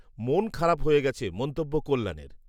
মন খারাপ হয়ে গেছে, মন্তব্য কল্যাণের